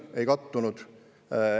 – ei kattunud.